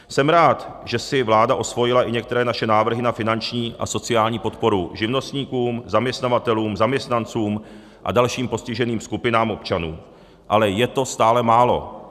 Jsem rád, že si vláda osvojila i některé naše návrhy na finanční a sociální podporu živnostníkům, zaměstnavatelům, zaměstnancům a dalším postiženým skupinám občanů, ale je to stále málo.